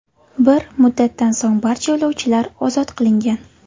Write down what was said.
Bir muddatdan so‘ng barcha yo‘lovchilar ozod qilingan .